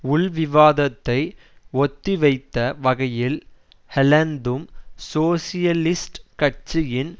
உள்விவாதத்தை ஒத்திவைத்த வகையில் ஹொலந்தும் சோசியலிஸ்ட் கட்சியின்